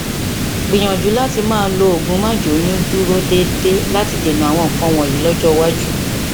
gbìyànjú láti máa lo oògùn máàjóyúndúró déédéé láti dènà àwọn nǹkan wọnyí lọjọ iwájú